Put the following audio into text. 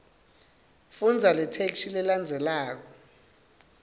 fundza letheksthi lelandzelako